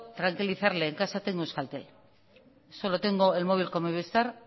tranquilizarle en casa tengo euskaltel solo tengo el móvil con movistar